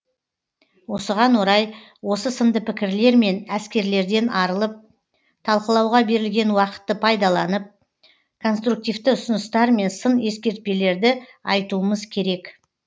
осыған орай осы сынды пікірлер мен әскерлерден арылып талқылауға берілген уақытты пайдаланып конструктивті ұсыныстар мен сын ескертпелерді айтуымыз керек